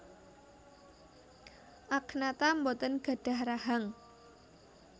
Agnatha boten gadhah rahang